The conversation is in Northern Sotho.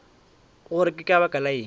gore ke ka baka lang